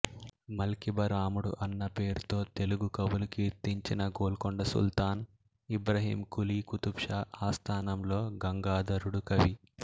మల్కిభరాముడు అన్న పేరుతో తెలుగు కవులు కీర్తించిన గోల్కొండ సుల్తాన్ ఇబ్రహీం కులీ కుతుబ్ షా ఆస్థానంలో గంగాధరుడు కవి